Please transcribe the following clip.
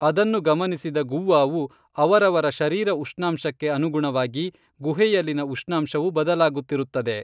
ಅದನ್ನು ಗಮನಿಸಿದ ಗುವ್ವಾವು ಅವರವರ ಶರೀರ ಉಷ್ಣಾಂಶಕ್ಕೆ ಅನುಗುಣವಾಗಿ ಗುಹೆಯಲ್ಲಿನ ಉಷ್ಣಾಂಶವೂ ಬದಲಾಗುತ್ತಿರುತ್ತದೆ